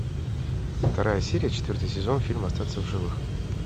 вторая серия четвертый сезон фильм остаться в живых